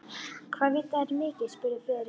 Hvað vita þeir mikið? spurði Friðrik.